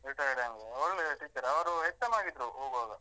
Retired ಆಯ್ತು. ಒಳ್ಳೆಯ teacher ಅವರು HM ಆಗಿದ್ರು ಹೋಗುವಾಗ.